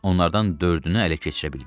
Onlardan dördünü ələ keçirə bildik.